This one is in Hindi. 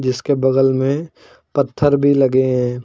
इसके बगल में पत्थर भी लगे हैं।